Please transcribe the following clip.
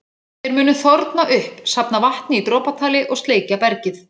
Þeir munu þorna upp, safna vatni í dropatali og sleikja bergið.